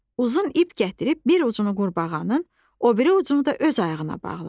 Uzun ip gətirib bir ucunu qurbağanın, o biri ucunu da öz ayağına bağladı.